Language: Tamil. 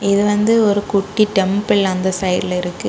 இது வந்து ஒரு குட்டி டெம்பிள் அந்த சைடுல இருக்கு.